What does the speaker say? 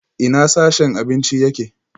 Ina sashen abinci yake?